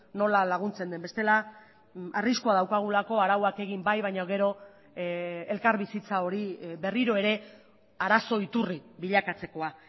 nola laguntzen den bestela arriskua daukagulako arauak egin bai baina gero elkarbizitza hori berriro ere arazo iturri bilakatzekoa